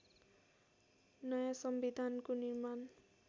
नयाँ संविधानको निर्माण